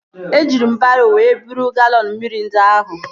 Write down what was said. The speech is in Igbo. Eji m baro wee buru galọn mmiri ndị ahụ